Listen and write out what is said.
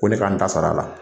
Ko ne ka n ta sar'a la